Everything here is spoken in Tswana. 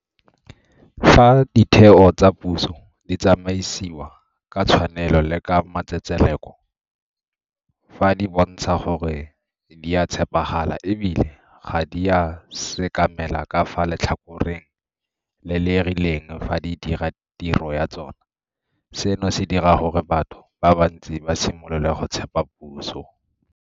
Fa ditheo tsa puso di tsamaisiwa ka tshwanelo le ka matsetseleko, fa di bontsha gore di a tshepagala e bile ga di a sekamela ka fa letlhakoreng le le rileng fa di dira tiro ya tsona, seno se dira gore batho ba bantsi ba simolole go tshepa puso.